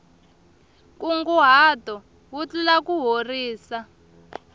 nkunguhato wu tlula kuhorisa